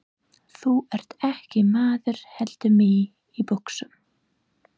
Þú ert ekki maður heldur mý í buxum.